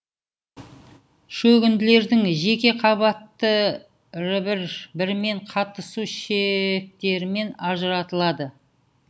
шөгінділердің жеке қабаттары бір бірімен қаттасу шектерімен ажыратылады